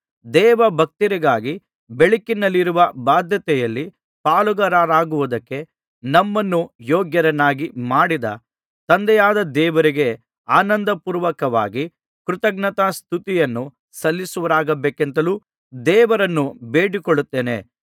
ದೇವಭಕ್ತರಿಗಾಗಿ ಬೆಳಕಿನಲ್ಲಿರುವ ಬಾಧ್ಯತೆಯಲ್ಲಿ ಪಾಲುಗಾರರಾಗುವುದಕ್ಕೆ ನಮ್ಮನ್ನು ಯೋಗ್ಯರನ್ನಾಗಿ ಮಾಡಿದ ತಂದೆಯಾದ ದೇವರಿಗೆ ಆನಂದಪೂರ್ವಕವಾಗಿ ಕೃತಜ್ಞತಾಸ್ತುತಿಯನ್ನು ಸಲ್ಲಿಸುವವರಾಗಬೇಕೆಂತಲೂ ದೇವರನ್ನು ಬೇಡಿಕೊಳ್ಳುತ್ತೇನೆ